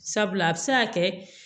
Sabula a bɛ se ka kɛ